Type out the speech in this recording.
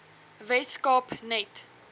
wes kaap net